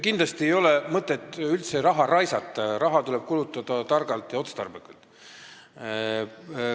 Kindlasti ei ole mõtet üldse raha raisata, raha tuleb kulutada targalt ja otstarbekalt.